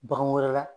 Bagan wɛrɛ la